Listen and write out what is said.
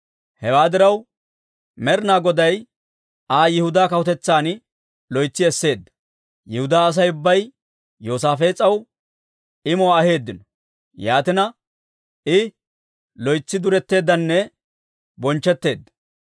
Hewaa diraw, Med'inaa Goday Aa Yihudaa kawutetsan loytsi esseedda. Yihudaa Asay ubbay Yoosaafees'aw imuwaa aheeddino; yaatina, I loytsi duretteeddanne bonchchetteedda.